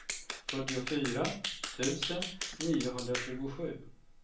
fyrtiofyra tusen niohundratjugosju